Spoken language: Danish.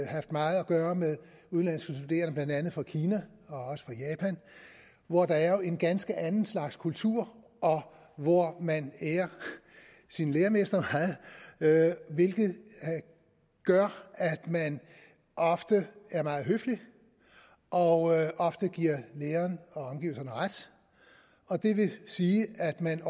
haft meget at gøre med udenlandske studerende blandt andet fra kina og også fra japan hvor der jo er en ganske anden slags kultur og hvor man ærer sin læremester meget hvilket gør at man ofte er meget høflige og ofte giver læreren og omgivelserne ret og det vil sige at man